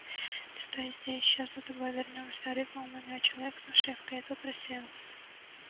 ты стой здесь сейчас за тобой вернёмся рыкнул на него человек с нашивкой и тот рассеялся